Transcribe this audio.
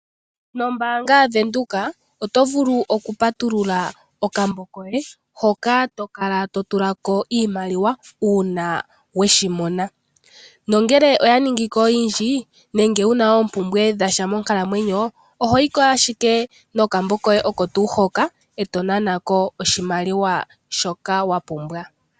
Nombaanga yaWindhoek otovulu okupatulula okambo koye hoka tokala totula ko iimaliwa uuna weshi mona, nongele oyaningiko oyindji nenge wuna oompumbwe dhasha monkalamwenyo ohoyiko ashike nokambo koye oko tuu hoka etokutha ko oshimaliwa shoka wapumbwa.